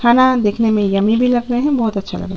खाना देखने में यम्मी भी लग रहै है बोहोत अच्छा लग रहा --